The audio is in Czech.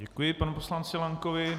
Děkuji panu poslanci Lankovi.